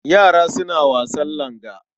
Yara suna wasan langa.